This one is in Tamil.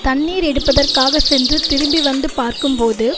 தண்ணீர் எடுப்பதற்காக சென்று திரும்பி வந்து பார்க்கும் போது